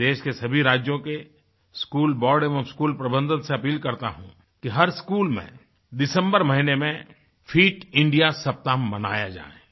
मैं देश के सभी राज्यों के स्कूल बोर्ड एवं स्कूल प्रबंधनसे अपील करता हूँ कि हर स्कूल में दिसम्बर महीने मेंफिट इंडिया सप्ताह मनाया जाए